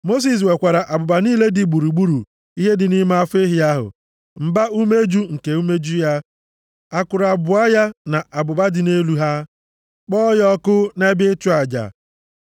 Mosis wekwara abụba niile dị gburugburu ihe dị nʼime afọ ehi ahụ, mba-umeju nke umeju ya, akụrụ abụọ ya na abụba dị nʼelu ha, kpọọ ya ọkụ nʼebe ịchụ aja.